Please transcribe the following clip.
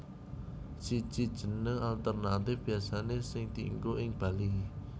Siji Jeneng alternatif biasane sing dienggo ing Bali